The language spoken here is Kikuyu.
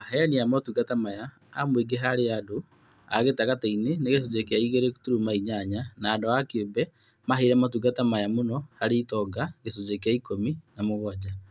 Aheani a motungata maya a mũingĩ harĩ andũ a gĩtagatĩ-inĩ nĩ gĩcunjĩ kĩa igĩrĩ turuma inyanya na andũ kĩũmbe maheire motungata maya mũno harĩ itonga gĩcunjĩ kĩa ikũmi na mũgwanja